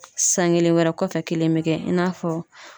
San kelen wɛrɛ kɔfɛ , kelen be kɛ i n'a fɔ